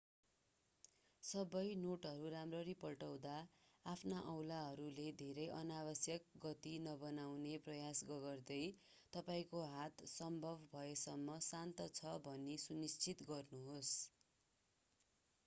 सबै नोटहरूराम्ररी पल्टाउँदा आफ्ना औँलाहरूले धेरै अनावश्यक गति नबनाउने प्रयास गगर्दै तपाईंको हात सम्भव भएसम्म शान्त छ भनि सु निश्चित गर्नुहोस्